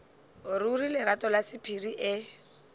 ruri lerato la sephiri e